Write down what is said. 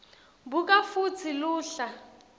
buka futsi luhla